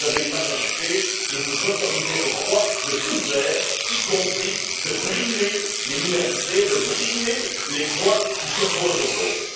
Vous avez une majorité et vous vous autorisez le droit de tout faire, y compris de brimer les minorités, de brimer les voix qui s'opposent aux vôtres.